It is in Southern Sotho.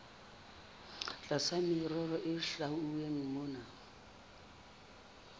tlasa merero e hlwauweng mona